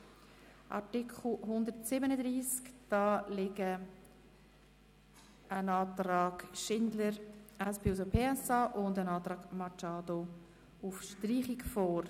Zu Artikel 137 liegen ein Antrag Schindler/SPJUSO-PSA und ein Antrag Machado Rebmann auf Streichung vor.